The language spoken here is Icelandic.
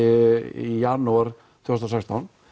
í janúar tvö þúsund og sextán